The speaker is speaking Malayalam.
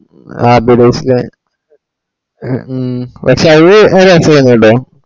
ആഹ്‌ ഫിറോസ്‌ഖാൻ ഉം പഷേ അതും നല്ല റാസയ്‌നുട്ടോ.